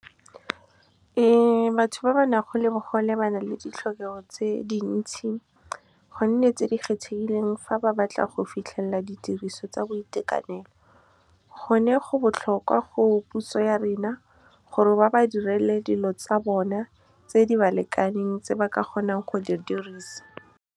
Batho ba ba na go le bogole ba na le ditlhokego tse dintsi, gonne tse di kgethegileng. Fa ba batla go fitlhelela ditiriso tsa boitekanelo, gone go botlhokwa go puso ya rena gore ba ba direle dilo tsa bona tse di ba lekaneng, tse ba ka kgonang go di dirisa. Batho ba ba na go le bogole ba na le ditlhokego tse dintsi, gonne tse di kgethegileng. Fa ba batla go fitlhelela ditiriso tsa boitekanelo, gone go botlhokwa go puso ya rena gore ba ba direle dilo tsa bona tse di ba lekaneng, tse ba ka kgonang go di dirisa.